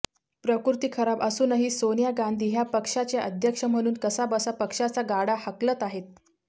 प्रकृती खराब असूनही सोनिया गांधी ह्या पक्षाच्या अध्यक्ष म्हणून कसाबसा पक्षाचा गाडा हाकलत आहेत